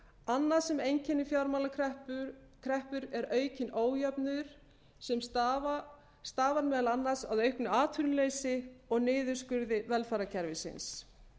annað sem einkennir fjármálakreppur er aukinn ójöfnuður sem stafar meðal annars af auknu atvinnuleysi og niðurskurði velferðarkerfisins